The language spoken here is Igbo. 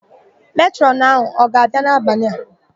Metrọn ọ ga-abia dọmetịrị n'abalị a?